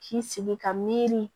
K'i sigi ka miiri